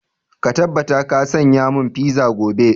Ka tabbata ka saya mun fiza gobe!